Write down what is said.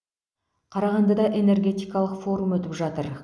қарағандыда энергетикалық форум өтіп жатыр